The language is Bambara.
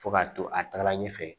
Fo ka to a taaga ɲɛfɛ